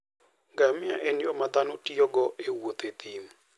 Ngamia en yo ma dhano tiyogo e wuotho e thim.